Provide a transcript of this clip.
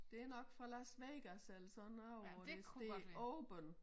Det nok fra Las Vegas eller sådan noget hvor der står open